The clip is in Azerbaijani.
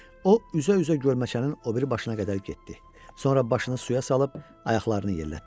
O üzə-üzə gölməçənin o biri başına qədər getdi, sonra başını suya salıb ayaqlarını yellətdi.